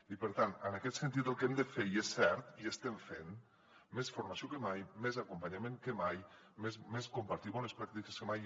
i per tant en aquest sentit el que hem de fer i és cert i ho estem fent és més formació que mai més acompanyament que mai més compartir bones pràctiques que mai